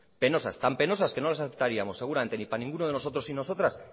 penosas tan penosas que no las aceptaríamos seguramente ni para ninguno de nosotros y nostras